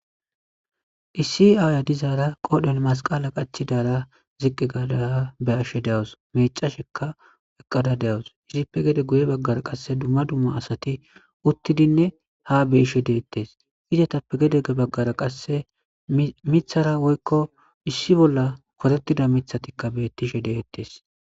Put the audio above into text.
issi aaya dizaara qoodhel masqala qachidaara ziqqi gada be'ashshe dewus mecashekka eqqada dewus izippe gede guye baggara qasse dumma dumma asati uttidinne ha beyishe deettes izatappe gedege baggara qasse mithara woykko issi bolla kotettida mithatikka bettishe deettes